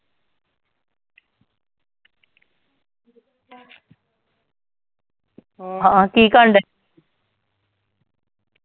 ਹੋਰ, ਹਾਂ ਕੀ ਕਰਨ ਡਏ .